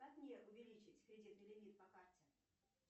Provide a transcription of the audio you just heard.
как мне увеличить кредитный лимит по карте